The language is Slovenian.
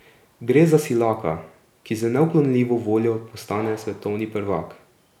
Gre za silaka, ki z neuklonljivo voljo postane svetovni prvak.